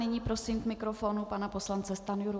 Nyní prosím k mikrofonu pana poslance Stanjuru.